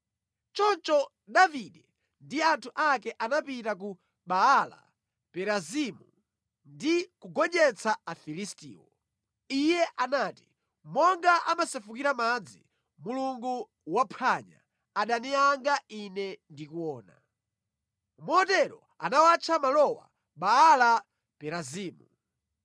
Choncho Davide ndi anthu ake anapita ku Baala-Perazimu ndi kugonjetsa Afilistiwo. Iye anati, “Monga amasefukira madzi, Mulungu waphwanya adani anga ine ndikuona.” Motero anawatcha malowa Baala Perazimu.